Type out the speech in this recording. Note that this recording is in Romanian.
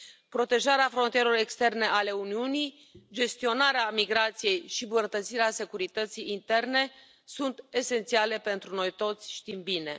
Protejarea frontierelor externe ale Uniunii, gestionarea migrației și îmbunătățirea securității interne sunt esențiale pentru noi toți, știm bine.